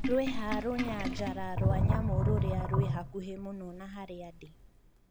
rwĩha rũnyanjara rwa nyamũ rũria rwĩ hakuhĩ mũno na haria ndi